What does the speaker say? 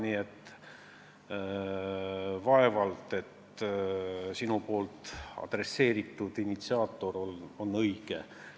Nii et vaevalt sinu nimetatud initsiaator on õige.